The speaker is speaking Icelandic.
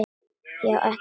Já, ekkert mál.